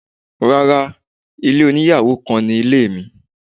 Rárá, ilé oníyàwò kan ni ilé mi.